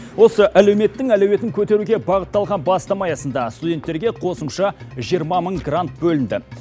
осы әлеуметтің әлеуетін көтеруге бағытталған бастама аясында студенттерге қосымша жиырма мың грант бөлінді